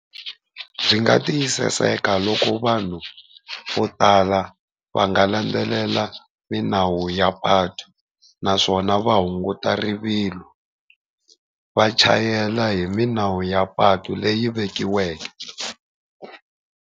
Byi nga tiyisiseka loko vanhu vo tala va nga landzelela milawu ya patu, naswona va hunguta rivilo va chayela hi milawu ya patu leyi vekiweke.